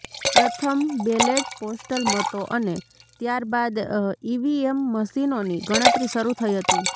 પ્રથમ ballot postal મતો અને ત્યારબાદ ઈવીએમ મશીનોની ગણતરી શરૂ થઈ હતી